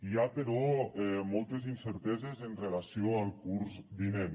hi ha però moltes incerteses en relació amb el curs vinent